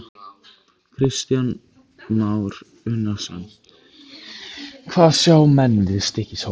Kristján Már Unnarsson: Hvað sjá menn við Stykkishólm?